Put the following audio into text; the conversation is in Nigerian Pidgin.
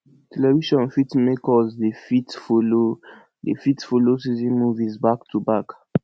television fit make us dey fit follow dey fit follow season movie back to back